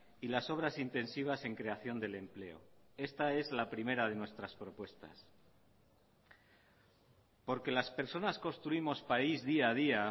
y las obras intensivas en creación del empleo esta es la primera de nuestras propuestas porque las personas construimos país día a día